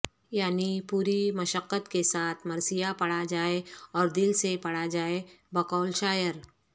یعنی پوری مشقت کے ساتھ مرثیہ پڑھا جائے اور دل سے پڑھا جائے بقول شاعر